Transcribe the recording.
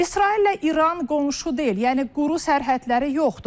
İsraillə İran qonşu deyil, yəni quru sərhədləri yoxdur.